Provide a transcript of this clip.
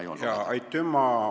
Aitüma!